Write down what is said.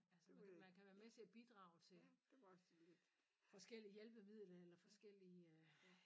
Altså man kan man kan være med til at bidrage til forskellige hjælpemidler eller forskellige